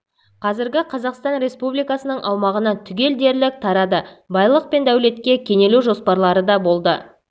қазіргі қазақстан республикасының аумағына түгел дерлік тарады байлық пен дәулетке кенелу жоспарлары да болды